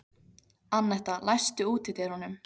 Annetta, læstu útidyrunum.